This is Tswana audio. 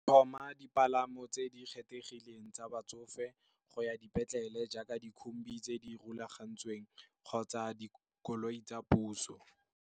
Tlhoma dipalamo tse di kgethegileng tsa batsofe go ya dipetlele jaaka dikhombi tse di rulagantsweng kgotsa dikoloi tsa puso.